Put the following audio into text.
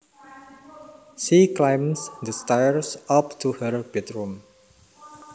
She climbed the stairs up to her bedroom